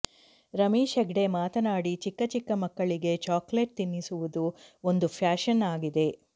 ರಮೇಶ್ ಹೆಗಡೆ ಮಾತನಾಡಿ ಚಿಕ್ಕ ಚಿಕ್ಕ ಮಕ್ಕಳಿಗೆ ಚಾಕೊಲೇಟ್ ತಿನ್ನಿಸುವುದು ಒಂದು ಫ್ಯಾಶನ್ ಆಗಿದೆ